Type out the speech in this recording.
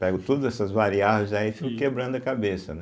Pego todas essas variáveis aí e fico quebrando a cabeça, né.